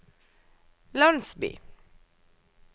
landsby